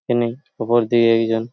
এখানেই ওপর দিয়ে একজন --